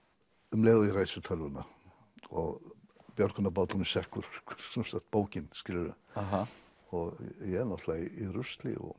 um leið og ég ræsi tölvuna og björgunarbáturinn sekkur sem sagt bókin skilurðu ég náttúrulega í rusli og